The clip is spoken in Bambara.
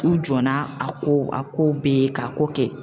U jɔnna , a ko a kow be ye k'a ko kɛ.